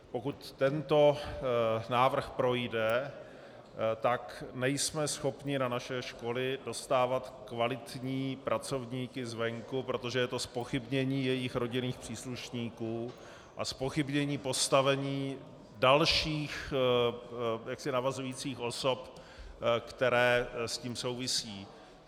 Pokud tento návrh projde, tak nejsme schopni na naše školy dostávat kvalitní pracovníky zvenku, protože je to zpochybnění jejich rodinných příslušníků a zpochybnění postavení dalších navazujících osob, které s tím souvisí.